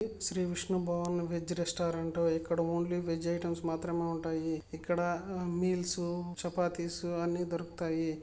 Shri Vishnu pure veg restaurant ఇక్కడ only veg items మాత్రమే ఉంటాయి. ఇక్కడ మీల్స్ చపాతీస్ అన్ని-- ]